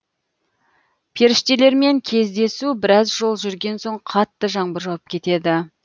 періштелермен кездесу біраз жол жүргенсоң қатты жаңбыр жауып кетеді